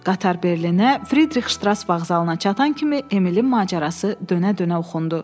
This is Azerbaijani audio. Qatar Berlinə, Fridrix Ştras Vağzalına çatan kimi Emilin macərası dönə-dönə oxundu.